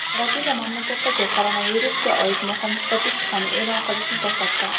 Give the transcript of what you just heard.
Braziliya mamlakatdagi koronavirusga oid muhim statistikani e’lon qilishni to‘xtatdi.